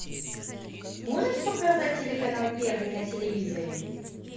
можешь показать телеканал первый на телевизоре